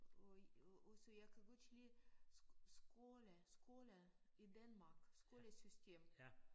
Og og også jeg kan godt lide skole skole i Danmark skolesystem